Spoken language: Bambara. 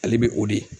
Ale bɛ o de